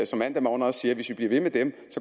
som mandag morgen også siger hvis vi bliver ved med dem